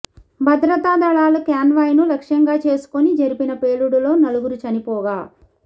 భద్రతాదళాల convoy ను లక్ష్యంగా చేసుకుని జరిపిన పేలుడులో నలుగురు చనిపోగా